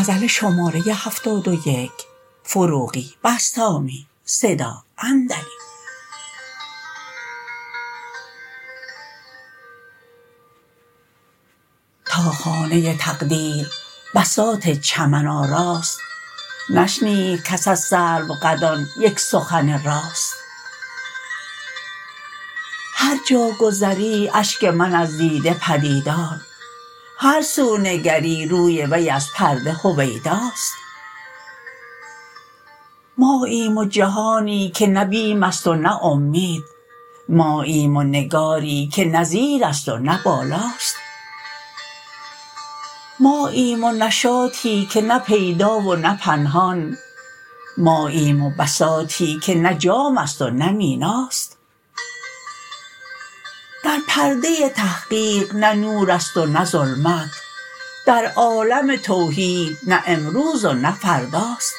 تا خانه تقدیر بساط چمن آراست نشنید کس از سروقدان یک سخن راست هر جا گذری اشک من از دیده پدیدار هر سو نگری روی وی از پرده هویداست ماییم و جهانی که نه بیم است و نه امید ماییم و نگاری که نه زیر است و نه بالاست ماییم و نشاطی که نه پیدا و نه پنهان ماییم و بساطی که نه جام است و نه میناست در پرده تحقیق نه نور است و نه ظلمت در عالم توحید نه امروز و نه فرداست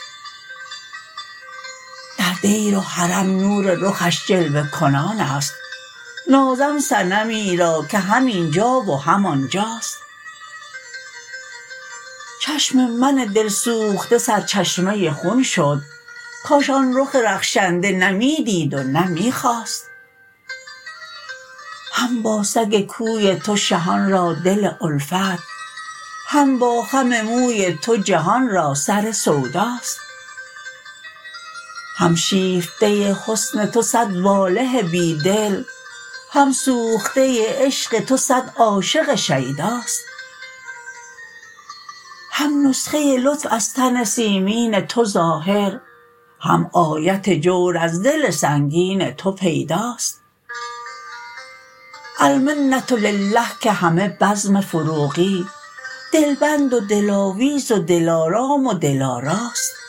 در دیر و حرم نور رخش جلوه کنان است نازم صنمی را که هم این جا و هم آنجاست چشم من دل سوخته سرچشمه خون شد کاش آن رخ رخشنده نه می دید و نه می خواست هم با سگ کوی تو شهان را دل الفت هم با خم موی تو جهان را سر سوداست هم شیفته حسن تو صد واله بی دل هم سوخته عشق تو صد عاشق شیداست هم نسخه لطف از تن سیمین تو ظاهر هم آیت جور از دل سنگین تو پیداست المنة لله که همه بزم فروغی دل بند و دل آویز و دل آرام و دل آراست